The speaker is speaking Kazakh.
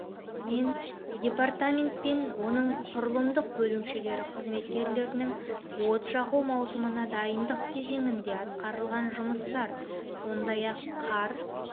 мен департаментпен оның құрылымдық бөлімшелері қызметкерлерінің от жағу маусымына дайындық кезеңінде атқарылған жұмыстар сондай-ақ қар